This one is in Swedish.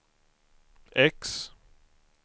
X